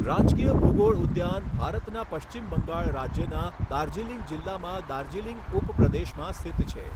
રાજકીય ભૂગોળ ઉદ્યાન ભારતના પશ્ચિમ બંગાળ રાજ્યના દાર્જિલિંગ જિલ્લામાં દાર્જિલિંગ ઉપપ્રદેશમાં સ્થિત છે.